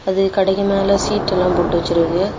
அது கடைக்கு மேல சீட்டு எல்லாம் போட்டு வெச்சிருக்கு.